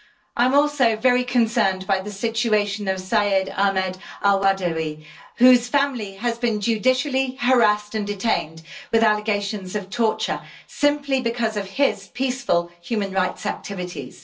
I am also very concerned by the situation of Syed Ahmed al Badawi, whose family has been judicially harassed and detained with allegations of torture, simply because of his peaceful human rights activities.